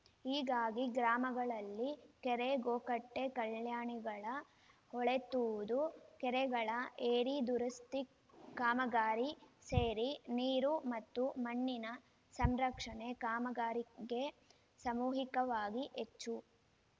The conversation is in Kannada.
ಹೀಗಾಗಿ ಗ್ರಾಮಗಳಲ್ಲಿ ಕೆರೆ ಗೋಕಟ್ಟೆ ಕಲ್ಯಾಣಿಗಳ ಹೂಳೆತ್ತುವುದು ಕೆರೆಗಳ ಏರಿ ದುರಸ್ತಿ ಕಾಮಗಾರಿ ಸೇರಿ ನೀರು ಮತ್ತು ಮಣ್ಣಿನ ಸಂರಕ್ಷಣೆ ಕಾಮಗಾರಿಗೆ ಸಾಮೂಹಿಕವಾಗಿ ಹೆಚ್ಚು